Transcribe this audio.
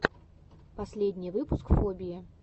последний выпуск фобии